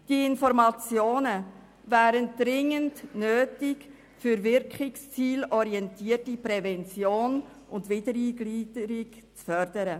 Diese Informationen wären dringend nötig, um wirkungs- und zielorientierte Prävention und Wiedereingliederung zu fördern.